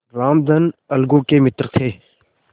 रामधन अलगू के मित्र थे